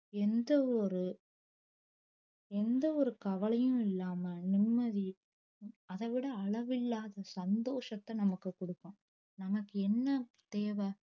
எந்த ஒரு எந்த ஒரு கவலையும் இல்லாம நிம்மதி அத விட அளவில்லாத சந்தோஷத்த நமக்கு கொடுக்கும் நமக்கு என்ன தேவை